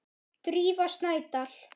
Drífa Snædal.